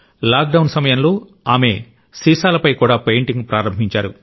lockdown సమయంలో ఆమె సీసాలపై కూడా పెయింటింగ్ ప్రారంభించారు